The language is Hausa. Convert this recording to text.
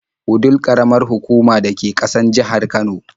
Wudil ƙaramar hukuma da ke ƙasan jihar Kano.